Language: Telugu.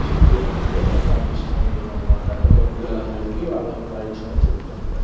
చెపుతునంటూ నాకు అనిపిస్తూవుంటుంది. అన్నమాట ఇక్కడ పిల్లల అందరికీ వాళ్ళ యొక్క రైట్స్ అనేవి చెపుతూంటారు.